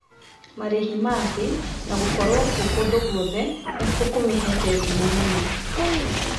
Marĩhi ma thĩ na gũkorwo kuo kũndũ guothe nĩkuo kũmihete ngumo mũno